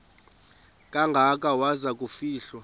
kangaka waza kufihlwa